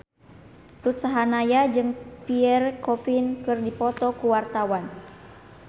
Ruth Sahanaya jeung Pierre Coffin keur dipoto ku wartawan